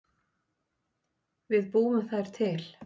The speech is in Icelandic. Við búum þær til